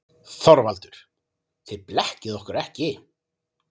ÞORVALDUR: Þið blekkið okkur ekki.